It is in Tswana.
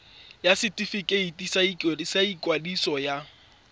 ya setefikeiti sa ikwadiso ya